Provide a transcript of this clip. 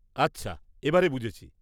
আচ্ছা, এবারে বুঝেছি।